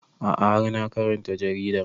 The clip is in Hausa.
A'a har na karanta jaridar